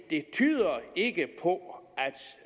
det tyder ikke på